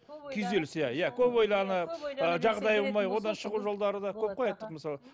күйзеліс иә иә көп ойланып ы жағдайы болмай одан шығу жолдары да көп қой айттық мысалы